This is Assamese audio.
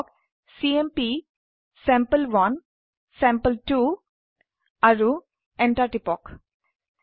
লিখক চিএমপি চেম্পল1 চেম্পল2 আৰু এন্টাৰ টিপক